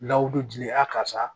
N'aw bɛ dili a karisa